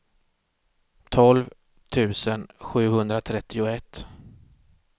tolv tusen sjuhundratrettioett